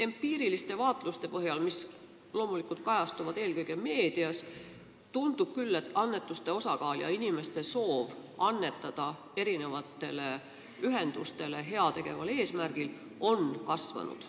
Empiiriliste vaatluste põhjal, mis kajastuvad loomulikult eelkõige meedias, tundub küll, et annetuste osakaal ja inimeste soov erinevatele ühendustele heategeval eesmärgil raha anda on kasvanud.